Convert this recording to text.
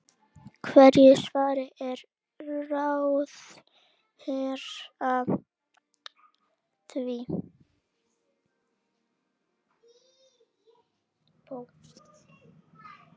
Hverju svarar ráðherra því?